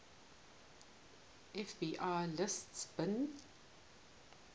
fbi lists bin